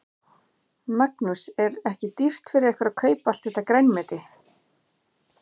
Magnús: Er ekki dýrt fyrir ykkur að kaupa allt þetta grænmeti?